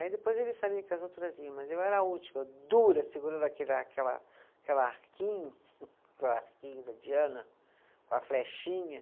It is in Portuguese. Aí depois eles sabiam que as outras vinham, mas eu era a última, dura, segurando aquele aquela, aquela arquinho arquinho da Diana, com a flechinha.